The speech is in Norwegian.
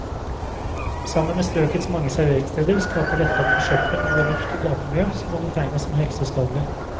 Sammen med strøkets mange serveringssteder skaper dette en forsøpling av både luft og gatemiljø som må betegnes som helseskadelig.